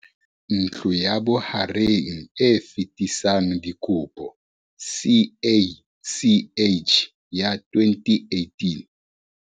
Ntlo ya Bohareng e Fetisang Dikopo, CACH, ya 2018